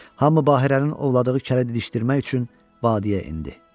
Hamı Bahirənin ovladığı kələ dişdirmək üçün vadüyə endi.